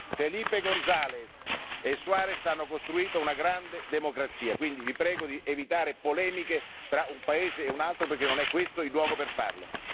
Felipe Gonzales e Adolfo Suarez hanno costruito una grande democrazia, quindi vi prego di evitare polemiche tra un paese e un altro perché non è questo il luogo per farlo.